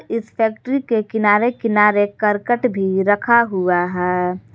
इस फैक्ट्री के किनारे किनारे करकट भी रखा हुआ है।